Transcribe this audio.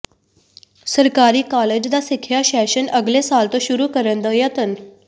ਸਰਕਾਰੀ ਕਾਲਜ ਦਾ ਸਿੱਖਿਆ ਸੈਸ਼ਨ ਅਗਲੇ ਸਾਲ ਤੋਂ ਸ਼ੁਰੂ ਕਰਨ ਦਾ ਯਤਨ